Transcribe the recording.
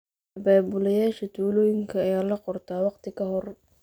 Abaabulayaasha tuulooyinka ayaa la qortaa wakhti ka hor.